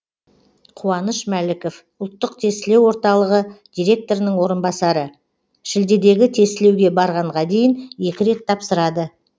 қуаныш мәліков ұлттық тестілеу орталығы директорының орынбасары шілдедегі тестілеуге барғанға дейін екі рет тапсырады